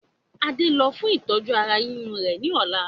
Adé ń lọ fún ìtọ́jú ara yíyún rẹ ni ọ̀la